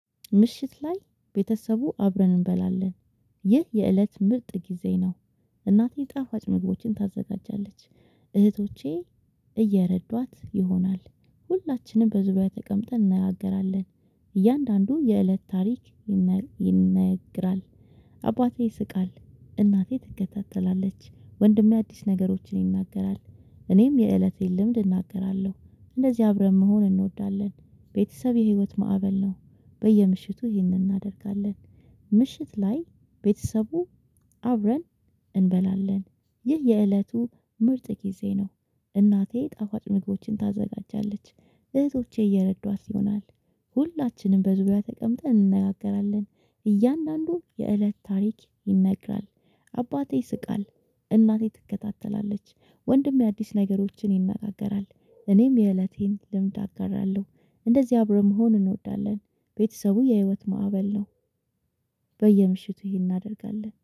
ምሽት ላይ ቤተሰቡ አብረን እንበላለን። ይህ የእለት ምርጥ ጊዜ ነው። እናቴ ጣፋጭ ምግቦችን ታዘጋጃለች። እህቶቼ እየረዷት ይሆናል። ሁላችንም በዙሪያ ተቀምጠን እንነጋገራለን። እያንዳንዱ የእለት ታሪክ ይነ ይነግራል። አባቴ ይስቃል እናቴ ትከታተላለች ወንድሜ አዲስ ነገሮችን ይናገራል እኔም የእለቴን ልምድ እናገራለሁ። እንደዚህ አብረን መሆን እንወዳለን። ቤተሰብ የህይወት ማዕበል ነው። በየምሽቱ ይህንን እናደርጋለን። ምሽት ላይ ቤተሰቡ አብረን እንበላለን። ይህ የእለቱ ምርጥ ጊዜ ነው። እናቴ ጣፋጭ ምግቦችን ታዘጋጃለች። እህቶቼ እየረዷት ይሆናል። ሁላችንም በዙሪያ ተቀምጠን እንነጋገራለን። እያንዳንዱ የእለት ታሪክ ይነግራል። አባቴ ይስቃል። እናቴ ትከታተላለች። ወንድሜ አዲስ ነገሮችን ይነጋገራል። እኔም የእለቴን ልምድ አጋራለሁ። እንደዚህ አብረን መሆን እንወዳለን። ቤተሰቡ የህይወት ማዕበል ነው። በየምሽቱ ይሄን እናደርጋለን